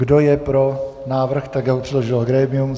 Kdo je pro návrh tak, jak ho předložilo grémium?